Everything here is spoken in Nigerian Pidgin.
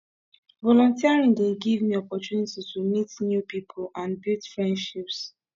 volunteering dey give me opportunity to meet new pipo and build friendships